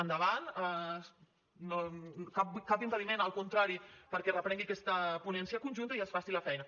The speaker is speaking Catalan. endavant cap impediment al contrari perquè es reprengui aquesta ponència conjunta i es faci la feina